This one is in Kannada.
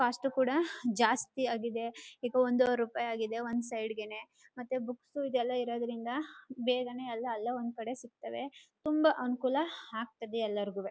ಕಾಸ್ಟ್ ಕೂಡ ಜಾಸ್ತಿ ಆಗಿದೆ ಈಗ ಒಂದುವರಿ ರೂಪಾಯಿ ಆಗಿದೆ ಒಂದ್ ಸೈಡ್ ಗೆ ನೇ ಮತ್ತೆ ಬುಕ್ಸ್ ಇದ್ಯೆಲ್ಲ ಇರೋದ್ರಿಂದ ಬೇಗನೆ ಎಲ್ಲ ಅಲ್ಲೇ ಒಂದ್ಕಡೆ ಸಿಗ್ತವೆ ತುಂಬಾ ಅನುಕೂಲ ಆಗ್ತದೆ ಎಲ್ಲರಗುವೆ.